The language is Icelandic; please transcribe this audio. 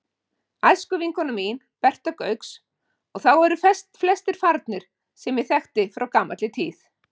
æskuvinkona mín, Berta Gauks, og þá eru flestir farnir sem ég þekkti frá gamalli tíð.